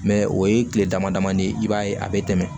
Mɛ o ye tile dama dama de ye i b'a ye a bɛ tɛmɛ